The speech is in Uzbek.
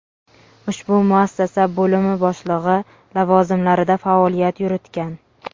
ushbu muassasa bo‘limi boshlig‘i lavozimlarida faoliyat yuritgan.